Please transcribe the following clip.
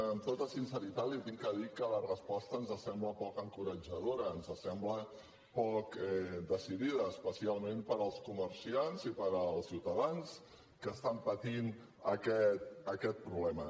amb tota sinceritat li haig de dir que la resposta ens sembla poc encoratjadora ens sembla poc decidida especialment per als comerciants i per als ciutadans que estan patint aquest problema